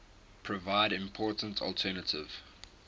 provide important alternative